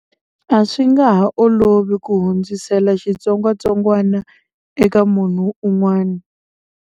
A swi nga ha olovi ku hundzisela xitsongwatsongwana eka munhu un'wana.